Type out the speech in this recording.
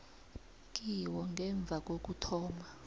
kiwo ngemva kokuthoma